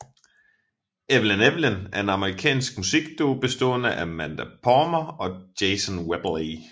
Evelyn Evelyn er en amerikansk musikduo bestående af Amanda Palmer og Jason Webley